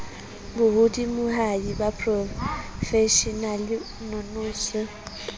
bo hodimohadi ba boprofeshenale nonoso